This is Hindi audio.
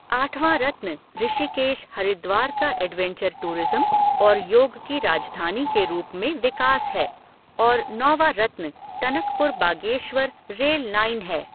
आठवा रत्न ऋषिकेश, हरिद्वार का एडवेंचर टूरिज़म और योग की राजधानी के रूप में विकास है और नौवा रत्न टनकपुर बागेश्वर रेल लाइन है।